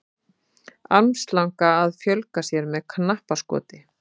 armslanga að fjölga sér með knappskoti